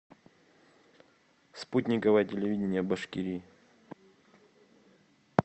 спутниковое телевидение башкирии